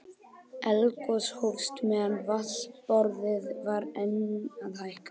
Eldgos hófst meðan vatnsborðið var enn að hækka.